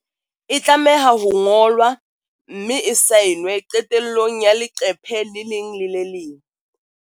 E tlameha ho ngolwa, mme e saenwe qetellong ya le qephe le leng le le leng.